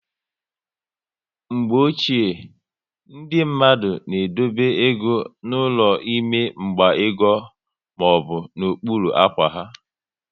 Mgbe ochie, ndị mmadụ na edobe égo n'ụlọ n'ime mgba ego maọbụ n'okpuru ákwá ha